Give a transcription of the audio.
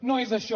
no és això